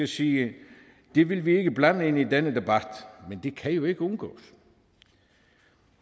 sige det vil vi ikke blande ind i denne debat men det kan jo ikke undgås